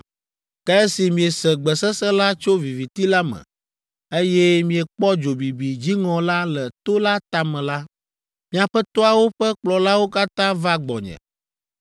Ke esi miese gbe sesẽ la tso viviti la me, eye miekpɔ dzo bibi dziŋɔ la le to la tame la, miaƒe toawo ƒe kplɔlawo katã va gbɔnye,